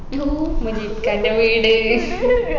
ഓ മുജീബ്ക്കാന്റെ വീട്